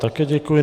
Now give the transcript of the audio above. Také děkuji.